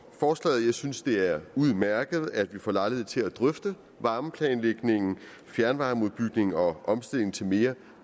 forslaget jeg synes det er udmærket at vi får lejlighed til at drøfte varmeplanlægningen fjernvarmeudbygningen og omstillingen til mere